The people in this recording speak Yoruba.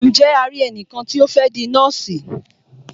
Ǹje a ri ẹnìkan tí o fẹ́ di nọ́ọ̀sì?